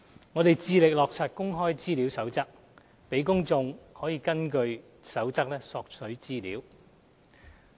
我們致力落實《公開資料守則》，讓公眾可根據《守則》索取資料。